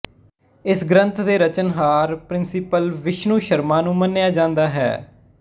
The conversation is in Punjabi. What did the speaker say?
ਇਸ ਗਰੰਥ ਦੇ ਰਚਣਹਾਰ ਪੰ ਵਿਸ਼ਣੁ ਸ਼ਰਮਾ ਨੂੰ ਮੰਨਿਆ ਜਾਂਦਾ ਹੈ